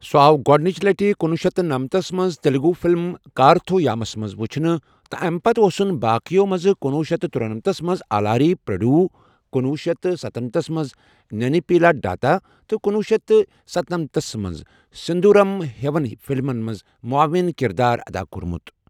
سُہ آو گۄدٕنچ لٹہِ کنۄہ شیتھ تہٕ نمتسَ منٛز تیلگو فلم کارتھویامَس منٛز وُچھنہٕ تہٕ امہِ پتہٕ ٲوسُن باقیَو منٛزکنۄہ شیتھ تہٕ ترۄنمَتھس منٛز آلاری پریوڈو، کنۄہ شیتھ تہٕ شُنمَتھس منٛز نینی پیلاڈاتا تہٕ کنۄہ شیتھ تہٕ ستنمَتھس منٛز سندھورم ہیوٮ۪ن فلمَن منٛز معاون کردار ادا کوٚرمُت۔